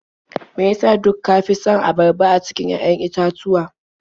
Me ya sa duk ka fi son abarba a cikin 'ya'yan itatuwa?